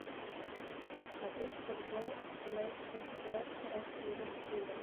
смотреть футбол лестера с ливерпулем